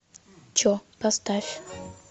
че поставь